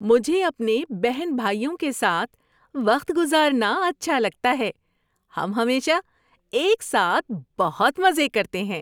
مجھے اپنے بہن بھائیوں کے ساتھ وقت گزارنا اچھا لگتا ہے۔ ہم ہمیشہ ایک ساتھ بہت مزے کرتے ہیں۔